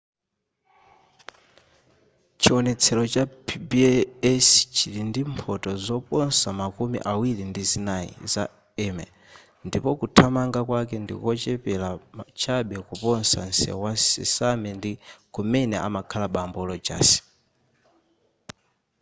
chiwonetsero cha pbs chili ndi mphoto zoposa makumi awiri ndi zinayi za emmy ndipo kuthamanga kwake ndikochepera chabe kuposa nsewu wa sesame ndi kumene amakhala bambo rodgers